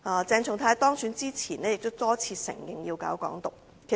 鄭松泰議員當選前也多次承認要搞"港獨"。